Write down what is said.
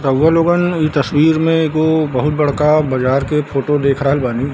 रउवा लोगन इ तस्वीर में एगो बहुत बड़का बाजार के फोटो देख रहल बानी।